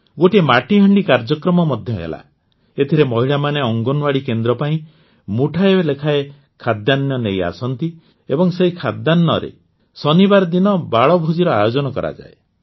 ଗୋଟିଏ ମାଟିହାଣ୍ଡି କାର୍ଯ୍ୟକ୍ରମ ମଧ୍ୟ ହେଲା ଏଥିରେ ମହିଳାମାନେ ଅଙ୍ଗନୱାଡ଼ି କେନ୍ଦ୍ର ପାଇଁ ମୁଠାଏ ଲେଖାଏ ଖାଦ୍ୟାନ୍ନ ନେଇ ଆସନ୍ତି ଏବଂ ସେହି ଖାଦ୍ୟାନ୍ନରେ ଶନିବାର ଦିନ ବାଳଭୋଜିର ଆୟୋଜନ କରାଯାଏ